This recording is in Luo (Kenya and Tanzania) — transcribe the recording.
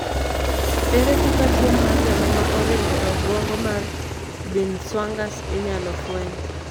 ere kaka tuo mar remo ma oringo e obwongo mar binswang'ers inyalo fweny?